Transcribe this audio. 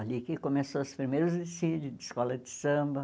ali que começou os primeiros desfile de escola de samba.